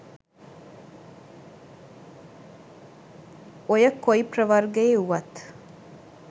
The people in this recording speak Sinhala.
ඔය කොයි ප්‍රවර්ගයේ වුවත්